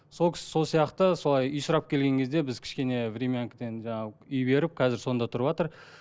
сол кісі сол сияқты солай үй сұрап келген кезде біз кішкене времянкіден жаңағы үй беріп қазір сонда тұрыватыр